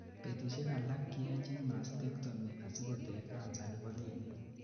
betusiek alak keyochin mastectomy asikoter cancer nebo kinet